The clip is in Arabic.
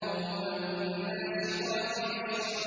وَالنَّاشِطَاتِ نَشْطًا